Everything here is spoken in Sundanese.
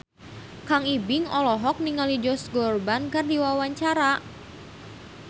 Kang Ibing olohok ningali Josh Groban keur diwawancara